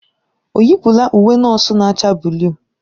Ọ yipụla uwe nọọsụ na-acha buluu?